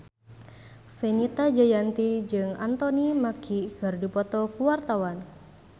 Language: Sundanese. Fenita Jayanti jeung Anthony Mackie keur dipoto ku wartawan